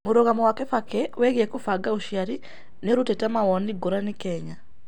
Mũrũgamo wa Kibaki wĩgĩe kũbanga ũcĩarĩ niũrũtĩte mawonĩ ngũranĩ Kenya